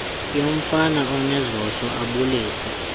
yomfana onezoso abulise